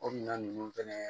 O minɛn ninnu fɛnɛ